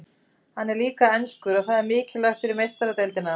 Hann er líka enskur og það er mikilvægt fyrir Meistaradeildina.